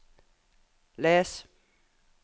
les